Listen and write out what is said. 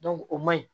o man ɲi